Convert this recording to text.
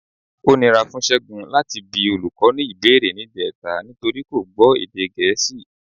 Ó nira fún Ṣẹ́gun láti bi olùkọ́ ní ìbéèrè níjẹta nítorí kò gbọ́ èdè Gẹ̀ẹ́sì.